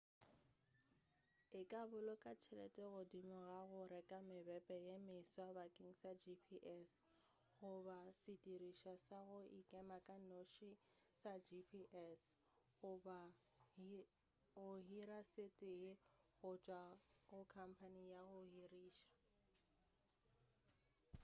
e ka boloka tšhelete godimo ga go reka mebepe ye meswa bakeng sa gps goba sedirišwa sa go ikema ka noši sa gps goba go hira se tee go tšwa go khamphane ya go hirša